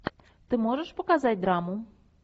ты можешь показать драму